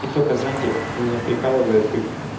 и только знаете меня прикалывает как